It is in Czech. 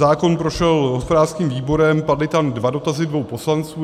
Zákon prošel hospodářským výborem, padly tam dva dotazy dvou poslanců.